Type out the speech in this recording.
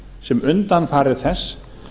sem undanfari þess